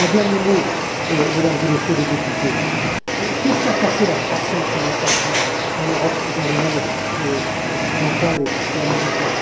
Un dernier mot, Mesdames et Messieurs les députés qu'est ce qui a cassé la croissance, il y a quatre ans, en Europe et dans le monde occidental et américain?